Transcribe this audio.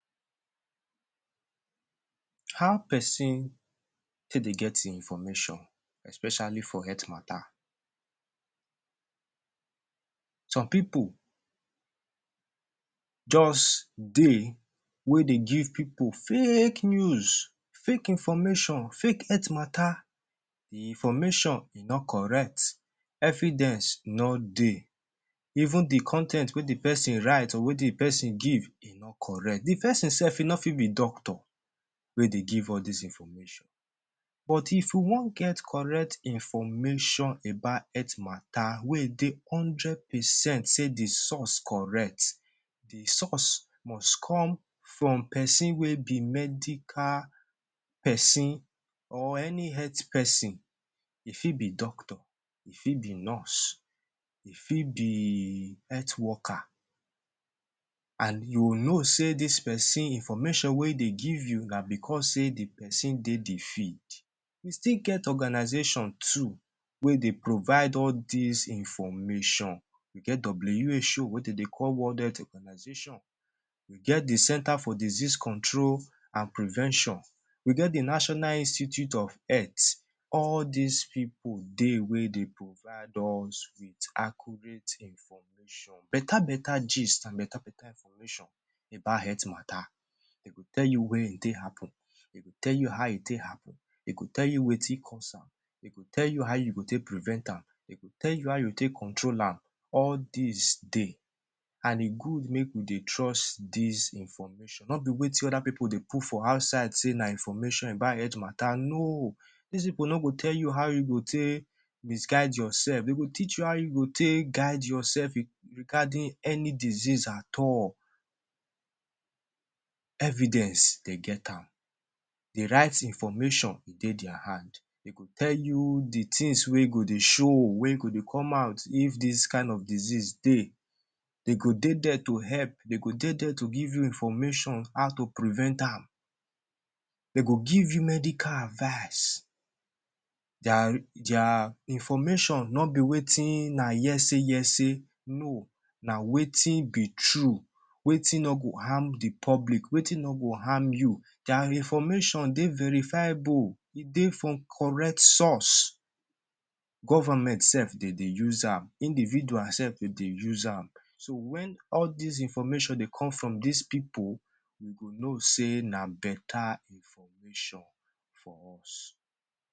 How peson take dey get ein information especially for health matter? Some pipu juz dey wey dey give pipu fake news, fake information, fake health matter. The information, e no correct; evidence, no dey, even the con ten t wey the peson write or wey the peson give, e no correct. The peson sef e no fit be doctor wey dey give all dis information. But if we wan get correct information about health matter wey dey hundred percent sey the source correct, the source must come from peson wey be medical peson or any health peson. E fit be doctor, e fit be nurse, e fit be health worker, an you know sey dis peson, information wey dey give you na becos sey the peson dey the field. We still get organisation too wey dey provide all dis information. We get WHO wey de dey call World Health Organisation, we get the Centre for Disease Control and Prevention, we get the National Institute of Health. All dis pipu dey wey dey provide us with accurate information, beta-beta gist an beta-beta information about health matter. De go tell you where e take happen, de go tell you how e take happen, de go tell wetin cause am, de go tell you how you go take prevent am, de go tell you how you take control am. All dis dey, an e good make e good make we dey trust dis information, no be wetin other pipu dey put for outside sey na information about health matter. No! Dis pipu no go tell you how you go take misguide yoursef, de go teach you how you go take guide yoursef regarding any disease at all. Evidence, de get am. The right information, e dey dia hand. De go tell you the tins wey go dey show, wey go dey come out if dis kain of disease dey. De go dey there to help, de go dey there to give you information how to prevent am. De go give you medical advice. Dia dia information no be wetin na hearsay-hearsay. No. Na wetin be true, wetin no go harm the public, wetin no go harm you. Dia information dey verifiable. E dey from correct source. Government sef, de dey use am. Individual sef, de dey use am. So, wen all dis information dey come from dis pipu, you go know sey na beta information.